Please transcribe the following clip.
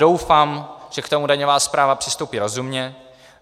Doufám, že k tomu daňová správa přistoupí rozumně.